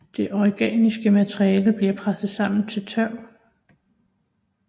Det organiske materiale bliver presset sammen til tørv